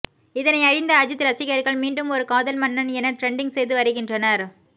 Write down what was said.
இதனையறிந்த அஜித் ரசிகர்கள் மீண்டும் ஒரு காதல் மன்னன் என டிரெண்ட்டிங் செய்து வருகின்றனர்